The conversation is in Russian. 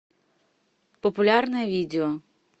популярное видео